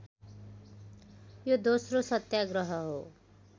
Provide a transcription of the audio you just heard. यो दोस्रो सत्याग्रह हो